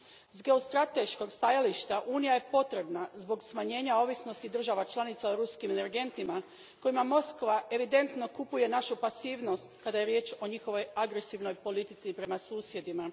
S geostrateškog stajališta unija je potrebna zbog smanjenja ovisnosti država članica o ruskim energentima kojima Moskva evidentno kupuje našu pasivnost kada je riječ o njihovoj agresivnoj politici prema susjedima.